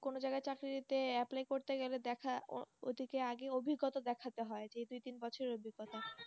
কোন জায়গায় চাকরিতে Apply করতে গেলে দেখা ও দিকে আগে অভিজ্ঞতা দেখাতে হয় যে দুই তিন বছরের অভিজ্ঞতা